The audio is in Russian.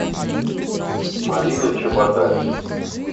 марина чеботарь